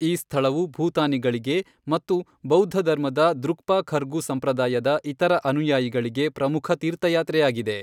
ಈ ಸ್ಥಳವು ಭೂತಾನಿಗಳಿಗೆ ಮತ್ತು ಬೌದ್ಧಧರ್ಮದ ದ್ರುಕ್ಪಾ ಖರ್ಗು ಸಂಪ್ರದಾಯದ ಇತರ ಅನುಯಾಯಿಗಳಿಗೆ ಪ್ರಮುಖ ತೀರ್ಥಯಾತ್ರೆಯಾಗಿದೆ.